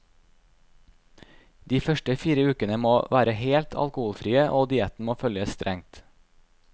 De første fire ukene må være helt alkoholfrie og dietten må følges strengt.